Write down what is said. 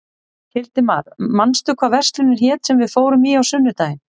Hildimar, manstu hvað verslunin hét sem við fórum í á sunnudaginn?